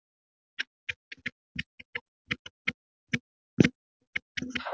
Sögur um gagnkvæma aðstoð við fæðingar eru merkilega algengar.